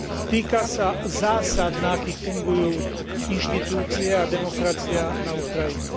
Týka sa zásad, na akých fungujú inštitúcie a demokracia na Ukrajine.